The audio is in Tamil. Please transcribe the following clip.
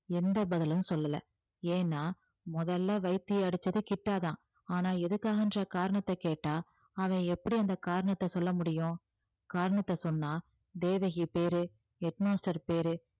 எந்த பதிலும் சொல்லல ஏன்னா முதல்ல வைத்திய அடிச்சது கிட்டா தான் ஆனா எதுக்காகன்ற காரணத்தை கேட்டா அவன் எப்படி அந்த காரணத்தை சொல்ல முடியும் காரணத்தை சொன்னா தேவகி பேரு head master பேரு